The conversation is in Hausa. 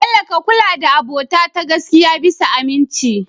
bello ka kulla da abota ta gaskiya bisa aminci